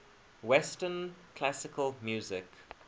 western classical music